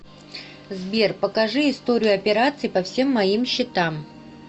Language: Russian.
сбер покажи историю операций по всем моим счетам